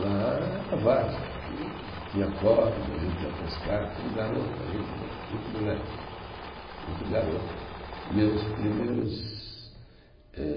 Lá era várzea, tinha córrego, a gente ia pescar, tudo garoto ainda né, muito moleque, muito garoto. Meus primeiros eh